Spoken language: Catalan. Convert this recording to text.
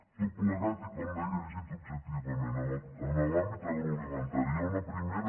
tot plegat i com deia llegit objectivament en l’àmbit agroalimentari hi ha una primera